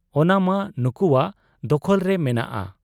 ᱚᱱᱟᱢᱟ ᱱᱩᱠᱩᱣᱟᱜ ᱫᱚᱠᱷᱚᱞᱨᱮ ᱢᱮᱱᱟᱜ ᱟ ᱾